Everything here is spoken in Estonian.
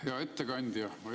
Hea ettekandja!